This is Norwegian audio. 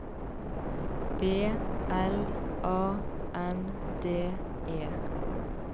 B L A N D E